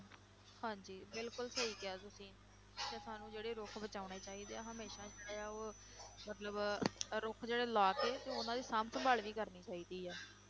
ਹਾਂਜੀ ਬਿਲਕੁਲ ਸਹੀ ਕਿਹਾ ਤੁਸੀਂ ਤੇ ਸਾਨੂੰ ਜਿਹੜੇ ਰੁੱਖ ਬਚਾਉਣੇ ਚਾਹੀਦੇ ਆ ਹਮੇਸ਼ਾ ਜਿਹੜਾ ਉਹ ਮਤਲਬ ਰੁੱਖ ਜਿਹੜੇ ਲਾ ਕੇ ਤੇ ਉਹਨਾਂ ਦੀ ਸਾਂਭ ਸੰਭਾਲ ਵੀ ਕਰਨੀ ਚਾਹੀਦੀ ਹੈ।